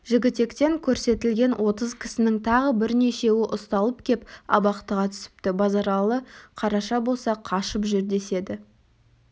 жігітектен көрсетілген отыз кісінің тағы бірнешеуі ұсталып кеп абақтыға түсіпті базаралы қараша болса қашып жүр деседі